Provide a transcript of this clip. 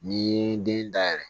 N'i ye den dayɛlɛ